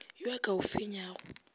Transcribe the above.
yo a ka o fenyago